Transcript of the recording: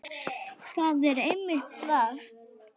Það er einmitt það!